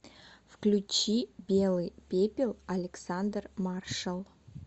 включи белый пепел александр маршал